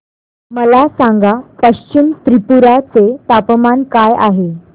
मला सांगा पश्चिम त्रिपुरा चे तापमान काय आहे